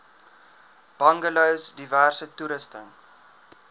bungalows diverse toerusting